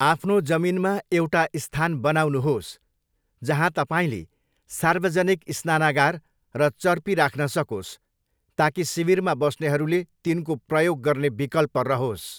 आफ्नो जमिनमा एउटा स्थान बनाउनुहोस्, जहाँ तपाईँले सार्वजनिक स्नानगार र चर्पी राख्न सकोस् ताकि शिविरमा बस्नेहरूले तिनको प्रयोग गर्ने विकल्प रहोस्।